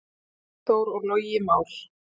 Máni Þór og Logi Már.